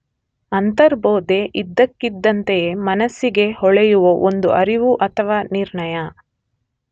ಅಂತರ್ಬೋಧೆ ಇದ್ದಕ್ಕಿದ್ದಂತೆಯೇ ಮನಸ್ಸಿಗೆ ಹೊಳೆಯುವ ಒಂದು ಅರಿವು ಅಥವಾ ನಿರ್ಣಯ.